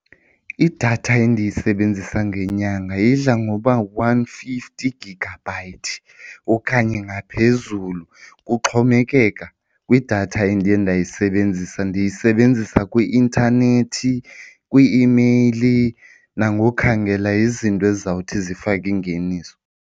Idatha endiyisebenzisa ngenyanga idla ngoba one fifty gigabyte okanye ngaphezulu, kuxhomekeka kwidatha endiye ndayisebenzisa. Ndiyisebenzisa kwi-intanethi, kwii-imeyili nangokhangela izinto ezizawuthi zifake ingeniso.